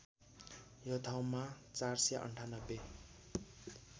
यो ठाउँमा ४९८